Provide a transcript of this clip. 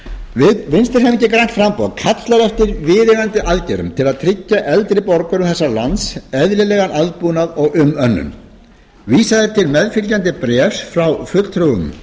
grænt framboð kallar eftir viðeigandi aðgerðum til að tryggja eldri borgurum þessa lands eðlilegan aðbúnað og umönnun vísað er til meðfylgjandi bréfs frá fulltrúum